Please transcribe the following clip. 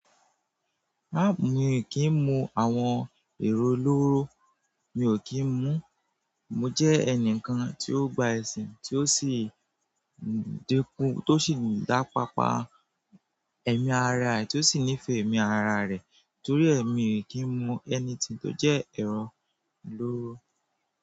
A mi ò kì í mu àwọn èrò lóró, mi ò kì í mu. Mo jẹ́ ẹnìkan tí ó gba ẹ̀sìn tí ó sì dínkù tí ó sì dáa pápa ẹ̀mí ara rẹ̀ tí ó sì nífẹ̀ẹ́ ẹmí ara rẹ̀ torí èmi ò kí ń mu anything tí ó jẹ́ ẹran lóró.